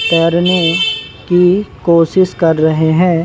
तैरने की कोशिश कर रहे हैं।